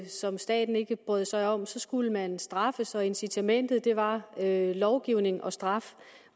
som staten ikke brød sig om skulle man straffes og incitamentet var lovgivning og straf